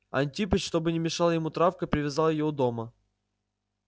антипыч чтобы не мешала ему травка привязал её у дома